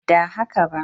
Ba da haka ba